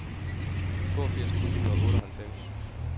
toogfirs tusind og otteoghalvfems